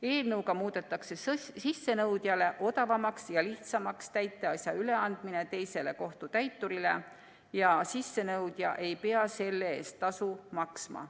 Eelnõuga muudetakse sissenõudjale odavamaks ja lihtsamaks täiteasja üleandmine teisele kohtutäiturile ja sissenõudja ei pea selle eest tasu maksma.